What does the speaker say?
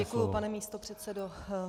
Děkuji, pane místopředsedo.